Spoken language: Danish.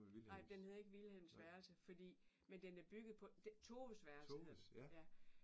Nej men den hedder ikke Vilhelms værelse fordi men den er bygget på det Toves værelse hedder den ja